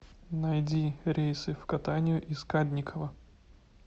найди рейсы в катанию из кадникова